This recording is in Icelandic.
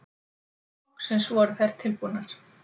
Loksins voru þær tilbúnar.